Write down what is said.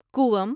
کوئم